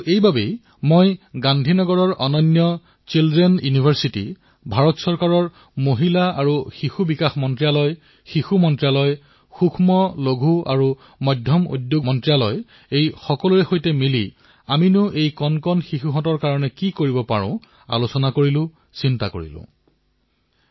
আৰু ইয়াৰে পৰা মই গান্ধীনগৰৰ শিশু বিশ্ববিদ্যালয় যি বিশ্বৰ ভিতৰতে অনন্য ভাৰত চৰকাৰৰ মহিলা আৰু শিশু বিকাশ মন্ত্ৰালয় শিক্ষা মন্ত্ৰালয় সুক্ষ্মলঘূ আৰু মজলীয়া উদ্যোগ মন্ত্ৰালয় এই সকলোৰে সৈতে লগ হৈ আমাৰ শিশুসকলৰ বাবে কি কৰিব পাৰি সেই বিষয়ত চিন্তা চৰ্চা কৰিলো মন্থন কৰিলো